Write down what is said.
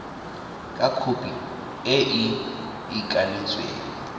ka khopi e e ikanetsweng